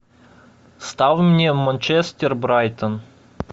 ставь мне манчестер брайтон